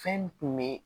Fɛn kun be